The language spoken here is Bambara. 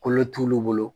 Kolo t'olu bolo